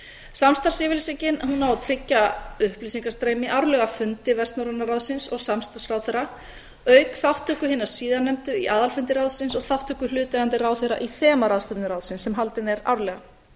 samstarfsyfirlýsingin á að tryggja upplýsingastreymi árlega fundi vestnorræna ráðsins og samstarfsráðherra auk þátttöku hinna síðarnefndu í aðalfundi ráðsins og þátttöku hlutaðeigandi ráðherra í þemaráðstefnu ráðsins sem haldin er árlega